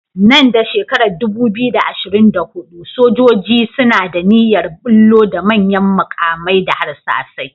Nan da shekarar 2024, sojoji suna da niyyar ɓullo da manyan maƙamai da harsasai.